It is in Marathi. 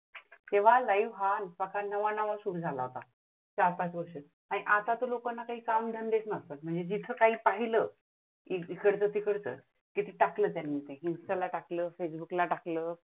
तेंव्हा live हा प्रकार नवा नवा चालू झाला होता, चार पाच वर्षे आता तरी लोक काम धंदेचं नसतात. म्हणजे काय पाहिलं इकडंचं तिकडचं टाकलं त्यांनी इंस्टाला टाकलं, फेसबुकला टाकलं.